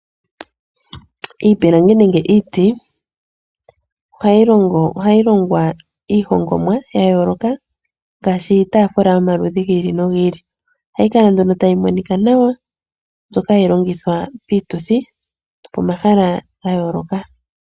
Iipilangi nenge iiti ohayi longwa iihongomwa ya yooloka ngaashi iitaafula yomaludhi gi ili nogi ili. Ohayi kala nduno tayi monika nawa, mbyoka hayi longithwa nduno piituthi nopomahala ga yooloka.